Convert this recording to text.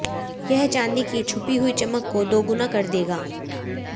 यह चांदी की छुपी हुई चमक को दोगुना कर देगा